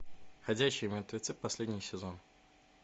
ходячие мертвецы последний сезон